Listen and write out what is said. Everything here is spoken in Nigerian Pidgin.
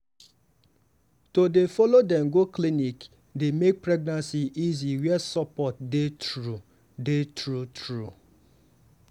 to dey follow dem go clinic dey make pregnancy easy where support dey true dey true true.